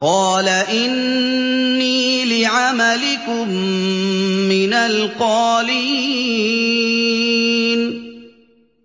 قَالَ إِنِّي لِعَمَلِكُم مِّنَ الْقَالِينَ